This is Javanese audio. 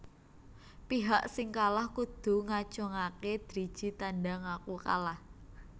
Pihak sing kalah kudu ngacungaké driji tanda ngaku kalah